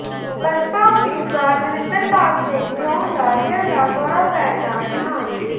ਬਸਪਾ ਉਮੀਦਵਾਰ ਦਵਿੰਦਰਪਾਲ ਸਿੰਘ ਦਿਓਣ ਦਾ ਦਿਲ ਦਾ ਦੌਰਾ ਪੈਣ ਨਾਲ ਦਿਹਾਂਤ